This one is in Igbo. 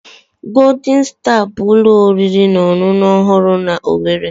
Golden Star bụ ụlọ oriri na ọṅụṅụ ọhụrụ na owerri.